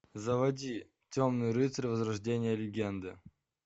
заводи темный рыцарь возрождение легенды